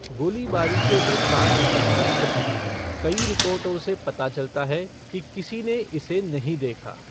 गोलीबारी के वृत्तांत अस्पष्ट हैं, कई रिपोर्टों से पता चलता है कि किसी ने इसे नहीं देखा।